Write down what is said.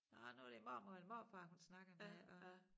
Nåh nu det mormor eller morfar hun snakker med og